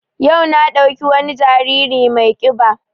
Yau na ɗauki wani jariri mai ƙiba